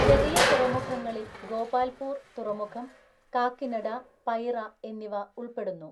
ചെറിയ തുറമുഖങ്ങളിൽ ഗോപാൽപൂർ തുറമുഖം, കാക്കിനഡ, പൈറ എന്നിവ ഉൾപ്പെടുന്നു.